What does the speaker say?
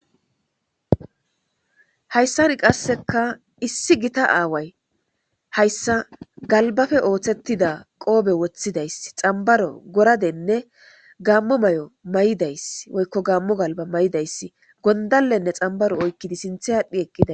hayssari qasseka issi gita aaway hayssa galbafe ooththettida qoobe woththidayss xambaro goradenne gammo may7o may7idayss woykko gammo galba may7idayss gondalenne xambaro oykkidi sinthe aadhdphi eqqida